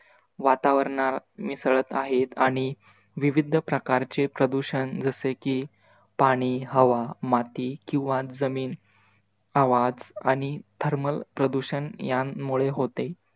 वातावरणा मिसळत आहेत आणि विविध प्रकारचे प्रदूषण जसे कि, पाणी, हवा, माती किवा जमिन आवाज आणि thermal प्रदूषण यांमुळे होते.